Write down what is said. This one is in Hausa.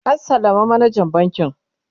an sallama manajan bankin